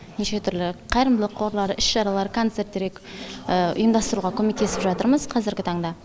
неше түрлі қайырымдылық қорлар іс шаралар концерттерге ұйымдастыруға көмектесіп жатырмыз қазіргі таңда